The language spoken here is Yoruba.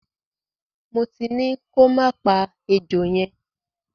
Mo ti ní kọ má pa ejò yẹn.